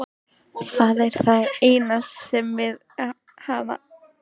Það er það eina góða við hana.